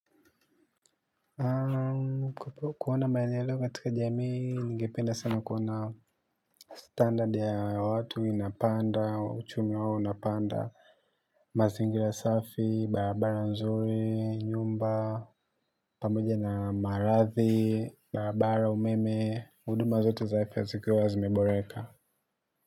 Kwa kuona maini ya leo matika jamii, nige penda sana kuona standard ya watu inapanda, uchumi wao inapanda, mazingira safi, barabara nzuri, nyumba, pamboja na marathi, barabara umeme, huduma zote za afya zikiwa wa zimeboreka.